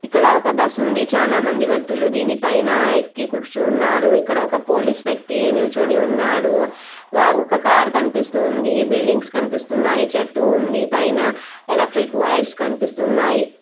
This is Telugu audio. ఇక్కడ ఒక బస్సు ఉంది. చానా మంది వ్యక్తులు దీని పైన ఎక్కి కూర్చున్నారు. ఇక్కడ ఒక పోలీస్ వ్యక్తి నిల్చుని ఉన్నాడు. ఒక కార్ కనిపిస్తూ ఉంది. బిల్డింగ్స్ కనిపిస్తున్నాయి. చెట్టు ఉంది. పైన ఎలక్ట్రిక్ వైర్స్ కనిపిస్తున్నాయి.